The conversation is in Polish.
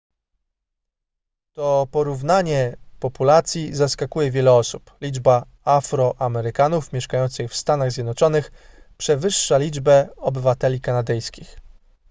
to porównanie populacji zaskakuje wiele osób liczba afroamerykanów mieszkających w stanach zjednoczonych przewyższa liczbę obywateli kanadyjskich